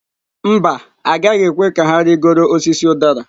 Mba, agaghị ekwe ka ha rịgoro osisi udara.